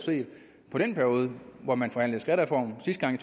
på den periode hvor man forhandlede skattereform sidste gang i